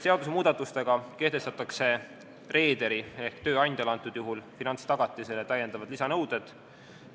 Seadusemuudatustega kehtestatakse reederile ehk tööandjale finantstagatiste kohustus ja lisanõuded.